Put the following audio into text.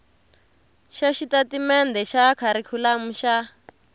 swa xitatimendhe xa kharikhulamu xa